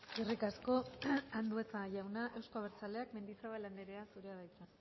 eskerrik asko andueza jauna euzko abertzaleak mendizabal andrea zurea da hitza